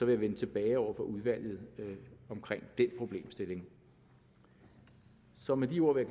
jeg vende tilbage over for udvalget omkring den problemstilling så med de ord vil